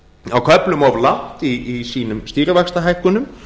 á köflum of langt í sínum stýrivaxtahækkunum